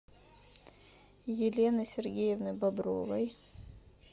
елены сергеевны бобровой